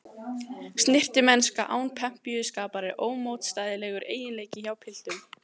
Snyrtimennska án pempíuskapar er ómótstæðilegur eiginleiki hjá piltum.